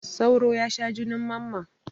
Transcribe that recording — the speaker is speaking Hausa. Sauro ya sha junin mamman.